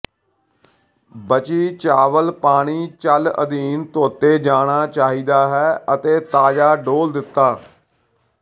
ਬਚੀ ਚਾਵਲ ਪਾਣੀ ਚੱਲ ਅਧੀਨ ਧੋਤੇ ਜਾਣਾ ਚਾਹੀਦਾ ਹੈ ਅਤੇ ਤਾਜ਼ਾ ਡੋਲ੍ਹ ਦਿੱਤਾ